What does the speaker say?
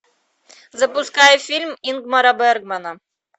запускай фильм ингмара бергмана